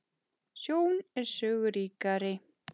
Sjón er sögu ríkari